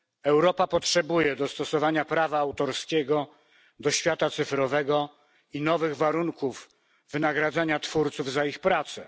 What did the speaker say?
Europa potrzebuje dostosowania prawa autorskiego do świata cyfrowego i nowych warunków wynagradzania twórców za ich pracę.